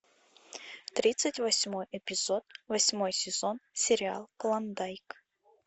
тридцать восьмой эпизод восьмой сезон сериал клондайк